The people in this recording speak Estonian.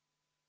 Aitäh!